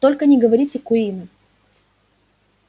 только не говорите куинну